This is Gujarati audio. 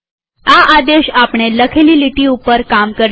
હવે આ આદેશ આપણે લખેલી લીટીઓ ઉપર કામ કરશે